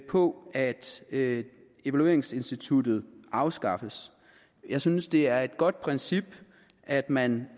på at at evalueringsinstituttet afskaffes jeg synes det er et godt princip at man